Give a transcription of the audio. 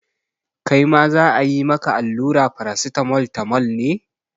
Kai ma za a yi maka allura Paracetamol tamol ne?